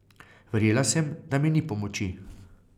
Verjela sem, da mi ni pomoči.